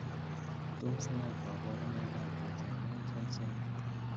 Tos nee koborunikab Johnson Munson syndrome?